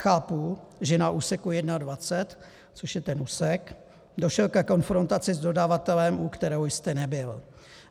Chápu, že na úseku 21, což je ten úsek, došlo ke konfrontaci s dodavatelem, u které jste nebyl.